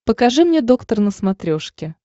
покажи мне доктор на смотрешке